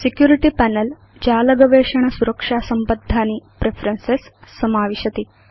security panel जालगवेषण सुरक्षा संबद्धानि प्रेफरेन्सेस् समाविशति